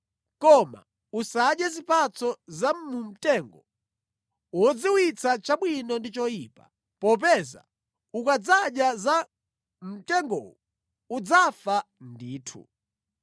koma usadye zipatso za mu mtengo wodziwitsa chabwino ndi choyipa, popeza ukadzadya za mu mtengowu udzafa ndithu.”